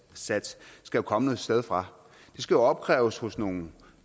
skal jo komme et sted fra de skal opkræves hos nogle